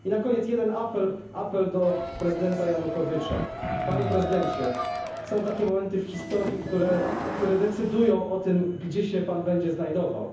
Na koniec apeluję do prezydenta Janukowycza panie prezydencie, są takie momenty w historii, które decydują o tym, gdzie się pan będzie znajdował.